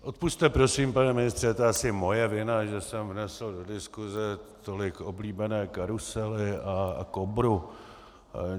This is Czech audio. Odpusťte prosím, pane ministře, je to asi moje vina, že jsem vnesl do diskuse tolik oblíbené karusely a Kobru.